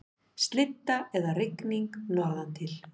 Slydda eða rigning norðantil